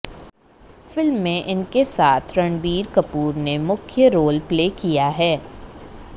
film में इनके साथ रणबीर कपूर ने मुख्य रोल प्ले किया है